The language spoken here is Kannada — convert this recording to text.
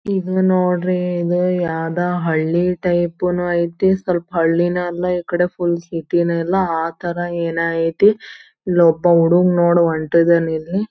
ಇದು ನೋಡ್ರಿ ಇದು ಯಾವ್ದೋ ಹಳ್ಳಿ ಟೈಪುನು ಐತಿ. ಸ್ವಲ್ಪ ಹಳ್ಳಿನೂ ಅಲ್ಲ ಈ ಕಡೆ ಫುಲ್ ಸಿಟಿನು ಅಲ್ಲ ಆತರ ಏನೋ ಐತಿ. ಇಲ್ಲೊಬ್ಬ ಹುಡುಗ ನೋಡ್ ಹೊಂಟಿದನ್ ಇಲ್ಲಿ.